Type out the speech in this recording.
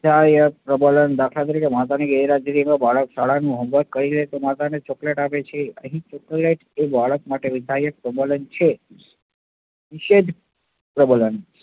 પ્રબલન, દાખલા તરીકે માતાની ગેરહાજરીમાં બાળક શાળાનું homework કરી લે તો માતા એને chocolate આપે છે. એ chocolate બાળક માટે પ્રબલન છે. પ્રબલન